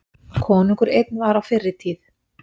Konungur einn var á fyrri tíð.